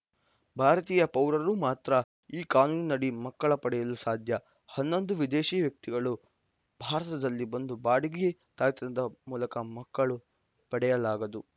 ಭಾರತೀಯ ಪೌರರು ಮಾತ್ರ ಈ ಕಾನೂನಿನಡಿ ಮಕ್ಕಳ ಪಡೆಯಲು ಸಾಧ್ಯ ಹನ್ನೊಂದು ವಿದೇಶೀ ವ್ಯಕ್ತಿಗಳು ಭಾರತದಲ್ಲಿ ಬಂದು ಬಾಡಿಗೆ ತಾಯ್ತನದ ಮೂಲಕ ಮಕ್ಕಳ ಪಡೆಯಲಾಗದು